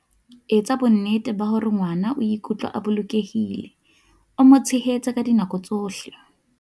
Etsa bonnete ba hore ngwana o ikutlwa a bolokehile, o mo tshehetse ka dinako tsohle.